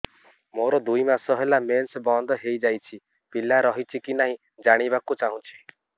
ମୋର ଦୁଇ ମାସ ହେଲା ମେନ୍ସ ବନ୍ଦ ହେଇ ଯାଇଛି ପିଲା ରହିଛି କି ନାହିଁ ଜାଣିବା କୁ ଚାହୁଁଛି